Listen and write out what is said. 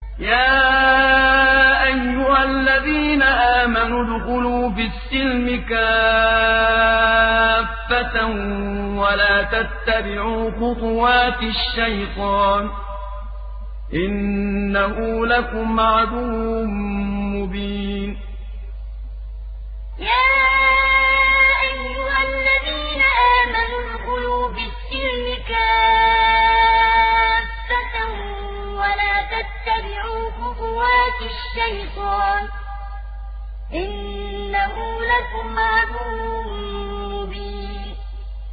يَا أَيُّهَا الَّذِينَ آمَنُوا ادْخُلُوا فِي السِّلْمِ كَافَّةً وَلَا تَتَّبِعُوا خُطُوَاتِ الشَّيْطَانِ ۚ إِنَّهُ لَكُمْ عَدُوٌّ مُّبِينٌ يَا أَيُّهَا الَّذِينَ آمَنُوا ادْخُلُوا فِي السِّلْمِ كَافَّةً وَلَا تَتَّبِعُوا خُطُوَاتِ الشَّيْطَانِ ۚ إِنَّهُ لَكُمْ عَدُوٌّ مُّبِينٌ